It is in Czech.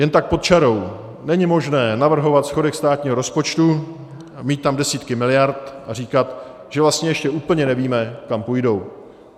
Jen tak pod čarou, není možné navrhovat schodek státního rozpočtu, mít tam desítky miliard a říkat, že vlastně ještě úplně nevíme, kam půjdou.